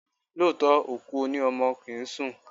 Lóòótọ́, òkú o ní ọmọ kì ń sùn.